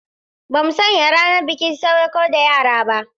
Ba mu sanya ranar bikin sadauƙar da yara ba.